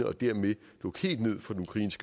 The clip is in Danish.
og at det egentlig på